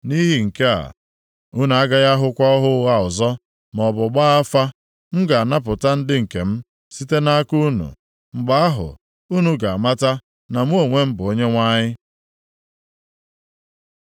Nʼihi nke a, unu agaghị ahụkwa ọhụ ụgha ọzọ, maọbụ gbaa afa. M ga-anapụta ndị nke m site nʼaka unu. Mgbe ahụ unu ga-amata na mụ onwe m bụ Onyenwe anyị.’ ”